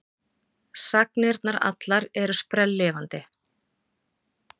Sagnirnar allar eru sprelllifandi.